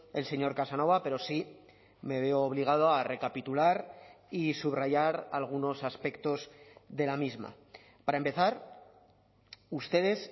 el señor casanova pero sí me veo obligado a recapitular y subrayar algunos aspectos de la misma para empezar ustedes